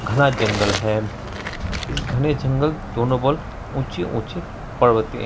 घना जंगल है इस घने जंगल दोनों बगल ऊँचे-ऊँचे पर्वते--